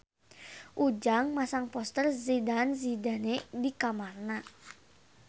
Ujang masang poster Zidane Zidane di kamarna